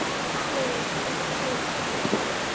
Magnús Hlynur: Er það alveg pottþétt?